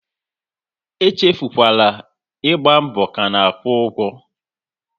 E echefukwala, ịgba mbọ ka na-akwụ ụgwọ!